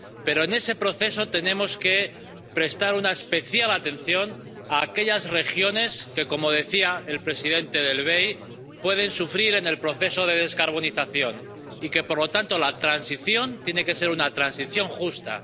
Pero, en ese proceso, tenemos que prestar una especial atención a aquellas regiones que —como decía el presidente del BEI— pueden sufrir en el proceso de descarbonización, y, por lo tanto, la transición tiene que ser una transición justa.